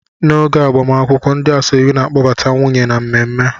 N'oge agbamakwụkwọ ndị asoebi na kpọbata nwunye na mmemme